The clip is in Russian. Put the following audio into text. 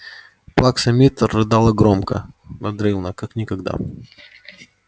плакса миртл рыдала громко надрывно как никогда